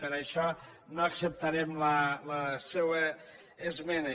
per això no acceptarem la seua esmena